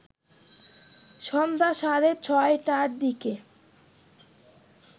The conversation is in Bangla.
সন্ধ্যা সাড়ে ৬টার দিকে